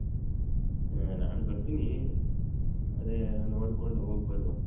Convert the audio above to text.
ಹ ನಾನು ಬರ್ತೀನಿ ಅದೇ ನೋಡ್ಕೊಂಡು ಹೋಗ್ಬರುವ.